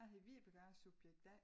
A hedder Vibeke og a er Subjekt A